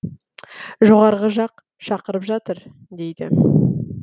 жоғарғы жақ шақырып жатыр дейді